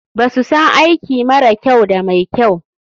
BAsu san aiki mara kyau da mai kyau.